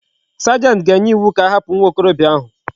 Sergeant ga enye iwu ka ahapu nwa okorobia ahu